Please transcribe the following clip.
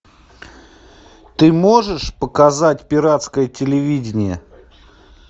ты можешь показать пиратское телевидение